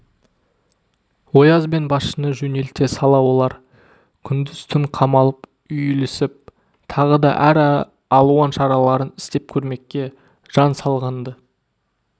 ояз бен басшыны жөнелте сала олар күндіз-түн қамалып үйілісіп тағыда әр алуан шараларын істеп көрмекке жан салған-ды